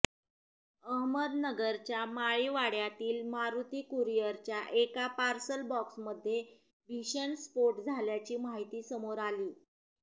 अहमदनगरच्या माळीवाडय़ातील मारूती कुरिअरच्या एका पार्सल बॉक्समध्ये भीषण स्फोट झाल्याची माहिती समोर आली